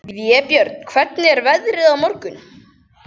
Vébjörn, hvernig er veðrið á morgun?